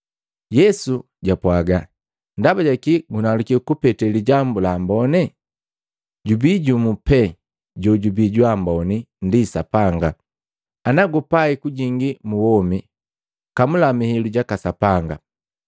Yesu jwapwaga, “Ndaba jaki gunaluki kupete lijambu la ambone? Jubii jumu pee jojubii jwa amboni ndi Sapanga. Ana gupai kujingi mu womi, kamula mihilu jaka Sapanga.”